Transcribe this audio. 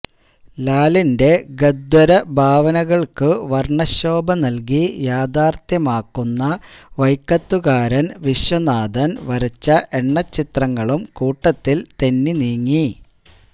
ലാലിന്റെ ഗന്ധര്വഭാവനകള്ക്കു വര്ണശോഭ നല്കി യാഥാര്ഥ്യമാക്കുന്ന വൈക്കത്തുകാരന് വിശ്വനാഥന് വരച്ച എണ്ണച്ചിത്രങ്ങളും കൂട്ടത്തില് തെന്നിനീങ്ങി